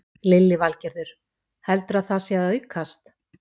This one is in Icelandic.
Lillý Valgerður: Heldurðu að það sé að aukast?